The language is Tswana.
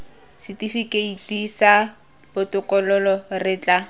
setifikeiti sa botokololo re tla